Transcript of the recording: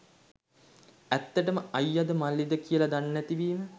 ඇත්තටම අයියද මල්ලිද කියල දන්නෙ නැති වීම